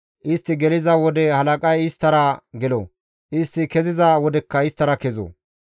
Istti geliza wode halaqay isttara gelo; istti keziza wodekka isttara kezo.